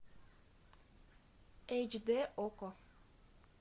эйч д окко